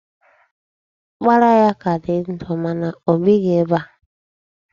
Ọkpara ya ka di ndụ, mana o bighi ebe a.